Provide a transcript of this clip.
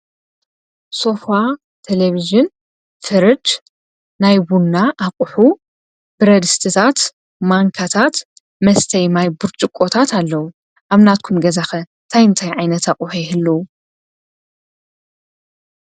ሶፋ፣ ቴሌቭዥን፣ ፍርጅ፣ ናይ ቡና ኣቁሑ ፣ብረድስትታት ፣ማንካታት ፣መስተይ ማይ ቡሩጭቆታት ኣለዉ፡፡ ኣብ ናትኩም ገዛ ከ እንታይ እንታይ ዓይነት ኣቁሑ ይህልዉ?